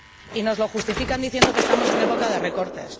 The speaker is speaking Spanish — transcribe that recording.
Y nos lo justifican diciendo que estamos en época de recortes.